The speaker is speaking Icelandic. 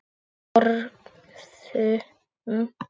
Og þögðum.